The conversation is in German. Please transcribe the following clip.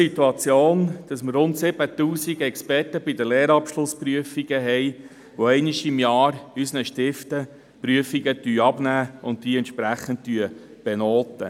Heute sind rund 7000 Experten an Lehrabschlussprüfungen tätig, welche einmal pro Jahr Prüfungen abnehmen und benoten.